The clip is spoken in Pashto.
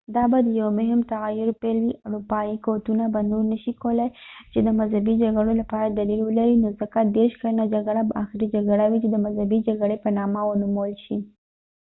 دا به د یو مهم تغیر پیل وي اروپایي قوتونه به نور نشي کولاي چې د مذهبي جګړو لپاره دلیل ولري نو ځکه دیرش کلنه جګړه به آخري جګړه وي چې د مذهبي جګړې په نامه ونومول شي